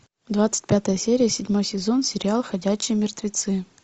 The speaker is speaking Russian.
двадцать пятая серия седьмой сезон сериал ходячие мертвецы